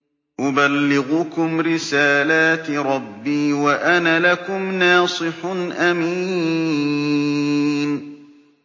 أُبَلِّغُكُمْ رِسَالَاتِ رَبِّي وَأَنَا لَكُمْ نَاصِحٌ أَمِينٌ